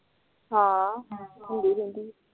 ਹਾਂ